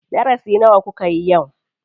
Darasi nawa kukayi yau?